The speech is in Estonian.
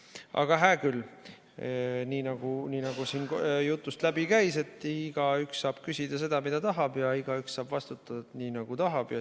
Aga hää küll, nii nagu siin jutust läbi käis, igaüks saab küsida seda, mida tahab, ja igaüks saab vastata nii, nagu tahab.